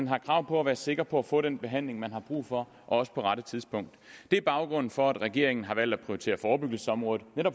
har krav på at være sikker på at få den behandling man har brug for og også på rette tidspunkt det er baggrunden for at regeringen har valgt at prioritere forebyggelsesområdet